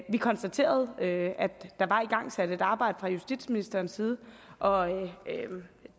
vi konstaterede at der var igangsat et arbejde fra justitsministerens side og